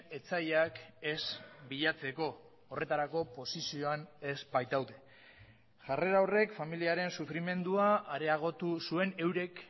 etsaiak ez bilatzeko horretarako posizioan ez baitaude jarrera horrek familiaren sufrimendua areagotu zuen eurek